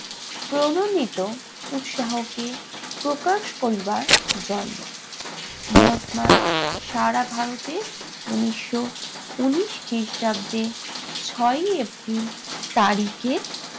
প্রবন্ধিত উৎসাহকে প্রকাশ করিবার জন্য- মহাত্মার সারা ভারতে উনিশশো উনিশ খ্রিস্টাব্দে ছয়ই april তারিখের